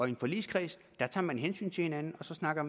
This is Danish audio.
i en forligskreds tager man hensyn til hinanden og så snakker